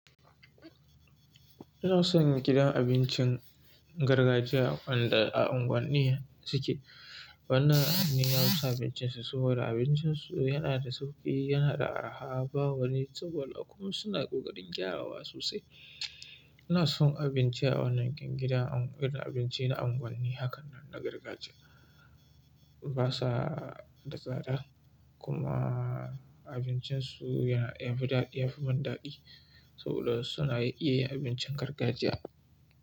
Ina son gidan abincin gargajiya wanda a unguwanni suke. Wannan an yi masa abincinsa, saboda abincinsu yana da sauƙi, yana da arha, ba wani tsada, kuma suna ƙoƙarin gyarawa sosai. Ina son abinci a wannan gidan abincin na unguwanni hakan nan na gargajiya. Ba su da tsada kuma abincinsu ya dan fi daɗi, ya fi daɗi saboda suna iya yin abincin gargajiya.